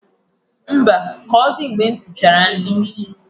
Mba, ọ mgbe m sichara nri